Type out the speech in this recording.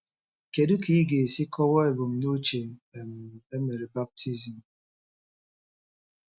Kedu ka ị ga-esi kọwaa ebumnuche um e mere baptizim?